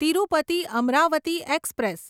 Tirupati Amaravati express